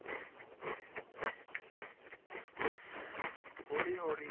ਹੌਲੀ ਹੌਲੀ,